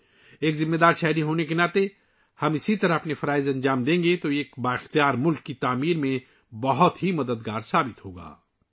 اگر ہم ایک ذمہ دار شہری کی حیثیت سے اپنے فرائض سرانجام دیں تو یہ ایک مضبوط قوم کی تعمیر میں بہت مددگار ثابت ہوگا